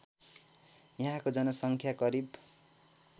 यहाँको जनसङ्ख्या करिब